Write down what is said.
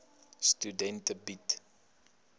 studente bied